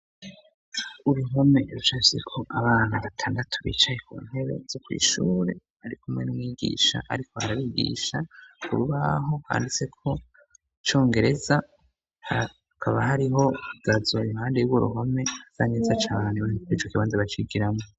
Uruhome rucafyeko abana batandatu bicaye kuntebe zo kw'ishure, barikumwe n'umwigisha ariko arabigisha, kurubaho handitseko icongereza, hakaba hariho igazo impande y'urwo ruhome yameze cane icokibanza bacigiramo